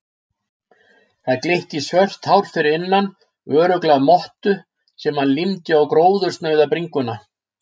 Það glitti í svört hár fyrir innan, örugglega mottu sem hann límdi á gróðursnauða bringuna.